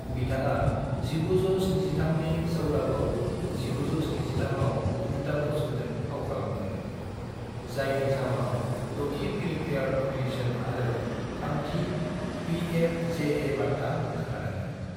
बिथाङा 1973 नि सौदागर (1973) आव अमिताभ बच्चनजों फाव खालामफादोंमोन, जायनि जाउनाव द'थि फिल्मफेयर नमिनेशन आरो थामथि बीएफजेए बान्था मोननो हादोंमोन।